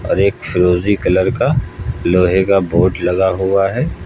और एक फिरोजी कलर का लोहे का बोर्ड लगा हुआ है।